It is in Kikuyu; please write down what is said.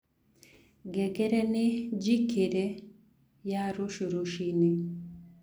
ngengere ni njĩkĩre ya rũcĩũ rũcĩĩnĩ